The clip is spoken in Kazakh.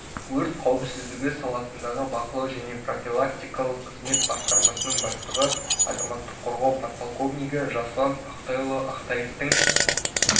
өрт қауіпсіздігі саласындағы бақылау және профилактикалық қызмет басқармасының бастығы азаматтық қорғау подполковнигі жасұлан ақтайұлы ақтаевтың